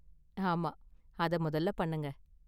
ஆமா, அத முதல்ல பண்ணுங்க.